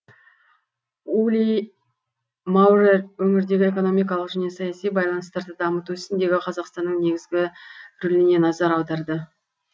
ули маурер өңірдегі экономикалық және саяси байланыстарды дамыту ісіндегі қазақстанның негізгі рөліне назар аударды